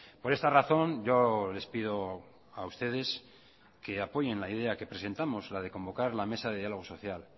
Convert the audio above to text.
por esta razón yo les pido a ustedes que apoyen la idea que presentamos la de convocar la mesa de diálogo social